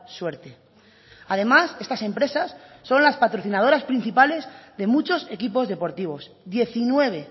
suerte además estas empresas son las patrocinadores principales de muchos equipos deportivos diecinueve